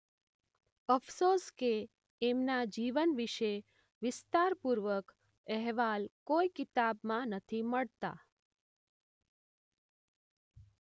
અફસોસ કે એમના જીવન વિશે વિસ્તાર પૂર્વક અહેવાલ કોઈ કિતાબમાં નથી મળતા.